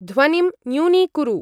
ध्वनिं न्यूनीकुरु।